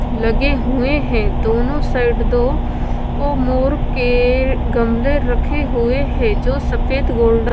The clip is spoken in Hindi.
लगे हुए हैं। दोनों साइड दो वो मोर के गमले रखे हुए हैं जो सफेद गोल्ड --